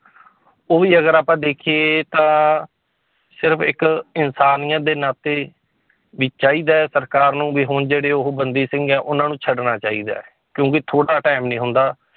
ਉਹ ਵੀ ਅਗਰ ਆਪਾਂ ਦੇਖੀਏ ਤਾਂ ਸਿਰਫ਼ ਇੱਕ ਇਨਸਾਨੀਅਤ ਦੇ ਨਾਤੇ ਵੀ ਚਾਹੀਦਾ ਹੈ ਸਰਕਾਰ ਨੂੰ ਵੀ ਹੁਣ ਜਿਹੜੇ ਉਹ ਬੰਦੀ ਸਿੰਘ ਹੈ ਉਹਨਾਂ ਨੂੰ ਛੱਡਣਾ ਚਾਹੀਦਾ ਹੈ, ਕਿਉਂਕਿ ਥੋੜ੍ਹਾ time ਨੀ ਹੁੰਦਾ